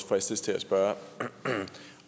fristes til at spørge